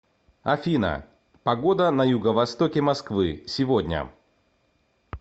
афина погода на юго востоке москвы сегодня